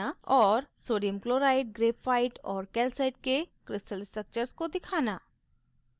और sodium chloride graphite और calcite के crystal structures को दिखाना